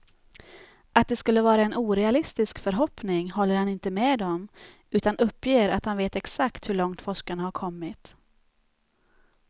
Att det skulle vara en orealistisk förhoppning håller han inte med om, utan uppger att han vet exakt hur långt forskarna har kommit.